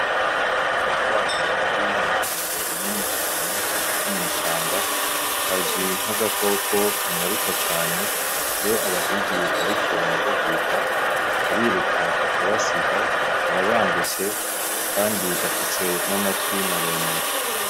Agakwavu kari mw'itongo rinini cane ko mwishamba kazwi nk'agakoko kanyaruka cane iyo abahigi bariko baragahiga kariruka kakabasiga karabangutse kandi gafise n'amatwi maremare.